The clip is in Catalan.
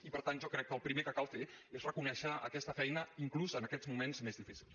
i per tant jo crec que el primer que cal fer és reconèixer aquesta feina inclús en aquests moments més difícils